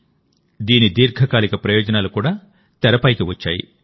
దీని దీర్ఘకాలిక ప్రయోజనాలు కూడా తెరపైకి వచ్చాయి